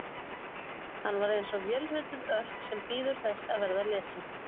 Hann var eins og vélrituð örk sem bíður þess að verða lesin.